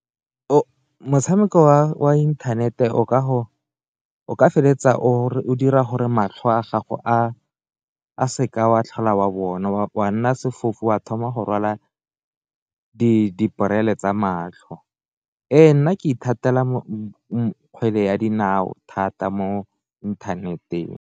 Motshameko wa inthanete o ka feleletsa o dira gore matlho a gago a seka wa tlhola wa bona, wa nna fofe wa thoma go rwala di borele tsa matlho, e nna ke ithatela kgwele ya dinao thata mo inthaneteng.